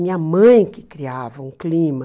Minha mãe que criava um clima.